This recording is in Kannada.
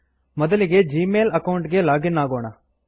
ಮೊದಲಿಗೆ ಜೀಮೇಲ್ ಅಕೌಂಟ್ ಗೆ ಲಾಗ್ ಇನ್ ಆಗೋಣ